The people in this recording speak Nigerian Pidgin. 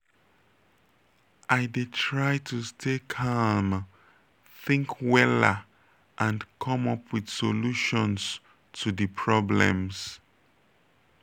i dey try to stay calm think wella and come up with solutions to di problems.